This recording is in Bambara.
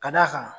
Ka d'a kan